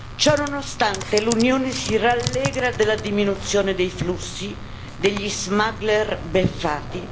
Ciò nonostante, l'Unione si rallegra della diminuzione dei flussi, degli smuggler beffati.